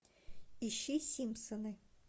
ищи симпсоны